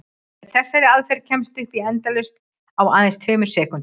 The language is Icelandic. Með þessari aðferð kemstu upp í endalaust á aðeins tveimur sekúndum!